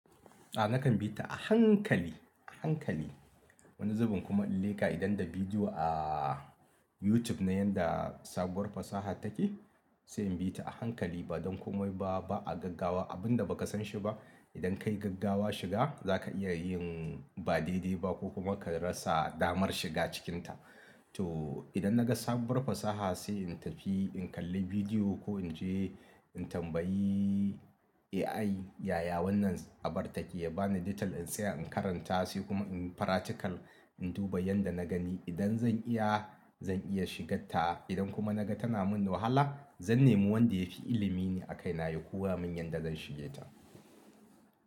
A nakan bi ta a hankali, a hankali. Wani zubin kuma in leƙa idan da bidiyo a YouTube na yanda sabuwar fasaha take, sai in bi ta a hankali. Ba don komai ba, ba a gaggawa abin da ba ka san shi ba. Idan ka yi gaggawa shiga za ka iya yin ba daidai ba ko kuma ka rasa damar shiga cikinta. To idan na ga sabuwar fasaha sai in tafi in kalli bidiyo ko in je in tambayi AI yaya wannan abar take. Ya bani detail in tsaya in karanta sai kuma in yi faratical, in duba yanda na gani. Idan zan iya, zan iya shiga ta. Idan kuma na ga tana min wahala, zan nemi wanda ya fi ilimi ne a kai na ya koya min yanda zan shige ta.